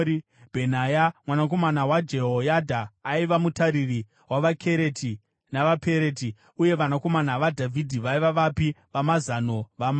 Bhenaya mwanakomana waJehoyadha aiva mutariri wavaKereti navaPereti; uye vanakomana vaDhavhidhi vaiva vapi vamazano vamambo.